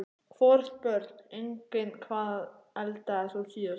Hvorugt Börn: Engin Hvað eldaðir þú síðast?